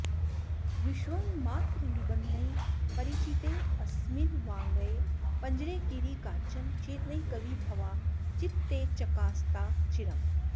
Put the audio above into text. विष्वङ्मात्रनिबन्धनैः परिचितेऽस्मिन्वाङ्मये पञ्जरे कीरी काचन चेतनैकविभवा चित्ते चकास्ताच्चिरम्